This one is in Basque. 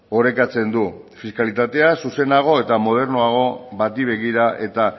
orekatzen du fiskalitatea zuzenago eta modernoago bati begira eta